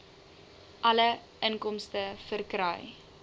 alle inkomste verkry